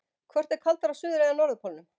Hvort er kaldara á suður- eða norðurpólnum?